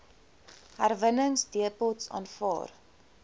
herwinningsdepots aanvaar